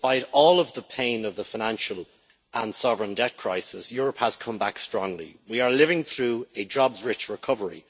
Despite all of the pain of the financial and sovereign debt crisis, Europe has come back strongly. We are living through a jobs rich recovery.